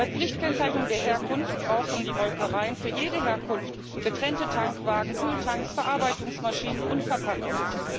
Bei Pflichtkennzeichnung der Herkunft brauchen die Molkereien für jede Herkunft getrennte Tankwagen, Kühltanks, Verarbeitungsmaschinen und Verpackungen.